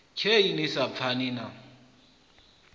khe ni sa pfani na